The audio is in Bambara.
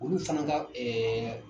Olu fana ka